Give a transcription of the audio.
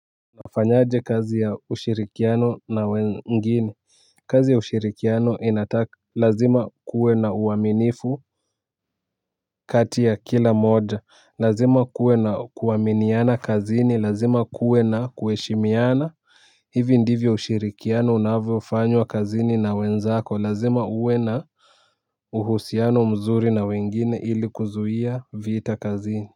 Nafanyaje kazi ya ushirikiano na wengine kazi ya ushirikiano inataka lazima kuwe na uaminifu kati ya kila mmoja lazima kuwe na kuaminiana kazini lazima kuwe na kuheshimiana hivi ndivyo ushirikiano unavyo fanywa kazini na wenzako lazima uwe na uhusiano mzuri na wengine ili kuzuhia vita kazini.